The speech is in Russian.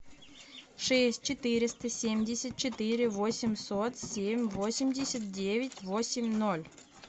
шесть четыреста семьдесят четыре восемьсот семь восемьдесят девять восемь ноль